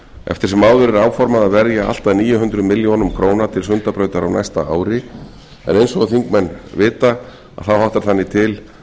eftir sem áður er áformað að verja allt að níu hundruð milljóna króna til sundabrautar á næsta ári en eins og þingmenn vita þá háttar þannig til